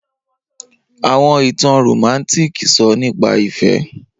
Awọn itan Romantic sọ nipa ifẹ.